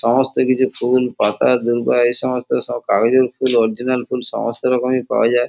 সমস্ত কিছু ফুল পাতা দূর্বা এ সমস্ত কাগজের ফুল অরিজিনাল ফুল এ সমস্ত রকমই পাওয়া যায়।